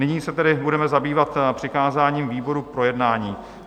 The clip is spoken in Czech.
Nyní se tedy budeme zabývat přikázáním výboru k projednání.